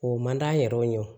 O man d'an yɛrɛ ye